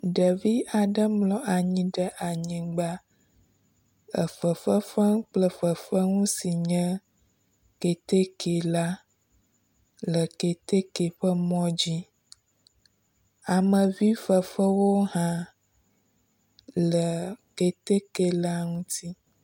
Ɖevi aɖe mlɔ anyi ɖe anyigba efefefem kple fefeŋu si nye keteke la le keteke ƒe mɔ dzi. Amevi fefewo hã le keteke la ŋuti.